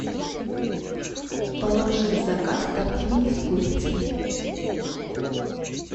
положи в заказ тортильи с курицей